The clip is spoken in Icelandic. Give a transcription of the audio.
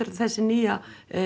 þessi nýja